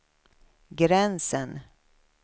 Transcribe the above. gränsen